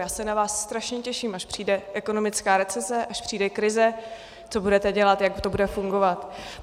Já se na vás strašně těším, až přijde ekonomická recese, až přijde krize, co budete dělat, jak to bude fungovat.